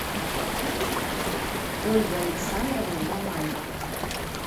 ольга александровна мамаева